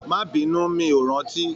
Má binu, mi o rántí.